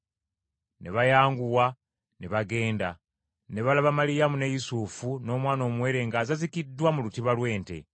Ne bayanguwa ne bagenda, ne balaba Maliyamu ne Yusufu, n’omwana omuwere ng’azazikiddwa mu lutiba lw’ente.